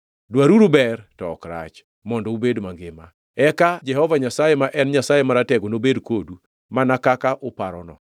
Dwaruru ber, to ok rach, mondo ubed mangima, eka Jehova Nyasaye, ma en Nyasaye Maratego nobed kodu mana kaka uparono.